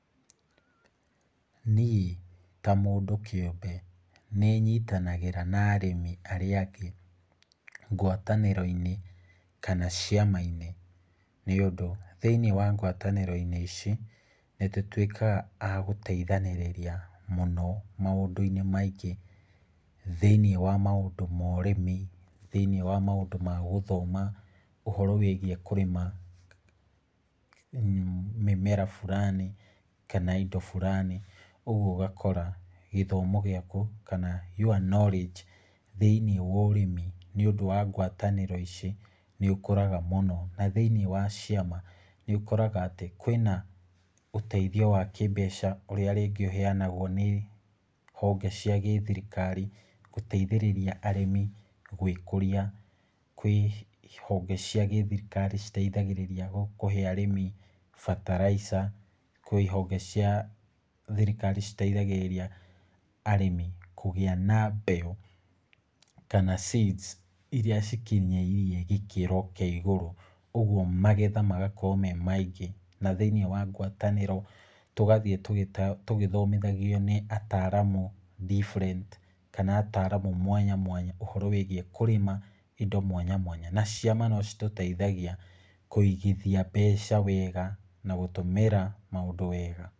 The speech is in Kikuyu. Niĩ ta mũndũ kĩũmbe, nĩ nyitanagĩra na arĩmi arĩa angĩ ngwatanĩro-inĩ kama ciama-inĩ, nĩ ũndũ thĩinĩ wa ngwatanĩro-inĩ ici nĩ tũtwĩkaga agũteithanĩrĩria mũno maũndũ-inĩ maingĩ , thĩiniĩ wa maũndũ ma ũrĩmi, thĩiniĩ wa maũndũ ma gũthoma, ũhoro wĩgiĩ kũrĩma mĩmera burani kana indo burani, ũgwo ũgakora gĩthomo gĩaku, kana your knowledge , thĩiniĩ wa ũrĩmi nĩ ũndũ wa ngwatanĩro ici nĩ ũkũraga mũno, na thĩiniĩ wa ciama nĩ ũkoraga atĩ kwĩna ũteithio wa kĩmbeca ũrĩa rĩngĩ ũheanagwo nĩ honge cia gĩthirikari gũteithĩrĩria arĩmi gwĩkũria, kwĩ honge cia gĩthirikari citeithagĩrĩria kũhe arĩmi bataraica, kwĩ ihonge cia thirikari citeithagĩrĩria arĩmi kũgĩa na mbeũ ,kana seeds iria cikinyĩirie gĩkĩro kĩa igũrũ, ũgwo magetha magakorwo me maingĩ , na thĩiniĩ wa ngwatanĩro tũgathiĩ tũgĩthomithagio nĩ ataramu different, kana ataramu mwanya mwanya ũhoro wĩgiĩ kũrĩma indo mwanya mwanya, na ciama no citũteithagia kũigithia mbeca wega na gũtũmĩra maũndũ wega.